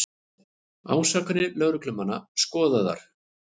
Ásakanir lögreglumanna skoðaðar